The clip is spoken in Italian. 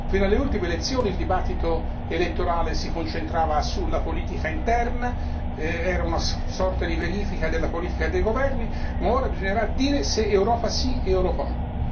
Fino alle ultime elezioni il dibattito elettorale si concentrava sulla politica interna, era una sorta di verifica della politica dei governi, ma ora bisognerà dire se Europa sì o Europa no.